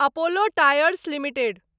Apollo tyres limited